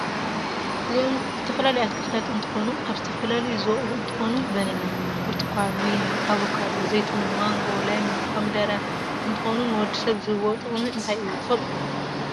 እዚ ዝተፋላለዩ አትክልታ እንትኮኑ አብ ዝተፈላለዩ ዝወቅል እንትኮን በነና፣ ቡርትኻን፣ ወይኒ ፣ አበካዶ፣ ዘይትሁን፣ ማንጎ ፣ለሚን ፣ኮምደረ ፣እንትኮኑ ንወድሰብ ዝህብዎ ጥቅም እንታይ እዩ ትፈልጥዶ?